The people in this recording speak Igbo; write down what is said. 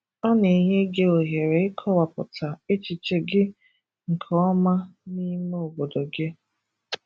Ọ na-enye gị ohere ịkọwapụta echiche gị nke ọma n’ime obodo gị.